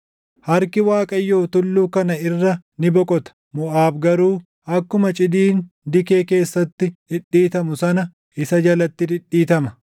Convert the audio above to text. Harki Waaqayyoo tulluu kana irra ni boqota; Moʼaab garuu akkuma cidiin dikee keessatti dhidhiitamu sana isa jalatti dhidhiitama.